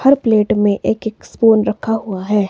हर plate में एक एक स्पून रखा हुआ है।